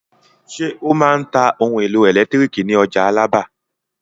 Ṣé ó máa ń ta ohun-èlò ẹ̀lẹ́tíríkì ní ọjà Alábà?